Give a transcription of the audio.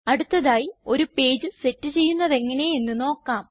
അടുത്തതായി ഒരു page set ചെയ്യുന്നത് എങ്ങനെയെന്ന് നോക്കാം